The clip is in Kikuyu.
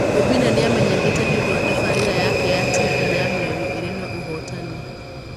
Obinna nĩ amenyekete nĩ ũndũ wa tabarĩra yake ya TV ya mĩario ĩrĩ na ũhootani.